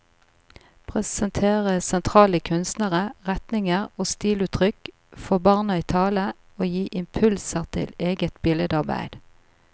Presentere sentrale kunstnere, retninger og stiluttrykk, få barna i tale og gi impulser til eget billedarbeid.